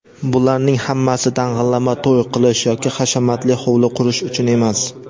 Bularning hammasi dang‘illama to‘y qilish yoki hashamatli hovli qurish uchun emas.